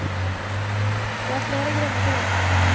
Det er flere grunner til det.